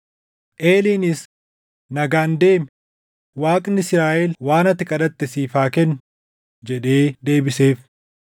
Eeliinis, “Nagaan deemi; Waaqni Israaʼel waan ati kadhatte siif haa kennu” jedhee deebiseef.